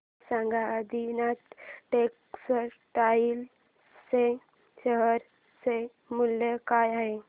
मला सांगा आदिनाथ टेक्स्टटाइल च्या शेअर चे मूल्य काय आहे